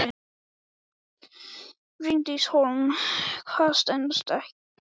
Bryndís Hólm: Hvað stenst ekki alveg?